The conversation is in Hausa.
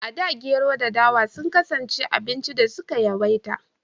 A da Gero da dawa sun kasance abincin da aka su ka yawaita